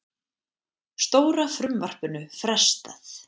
Stóra frumvarpinu frestað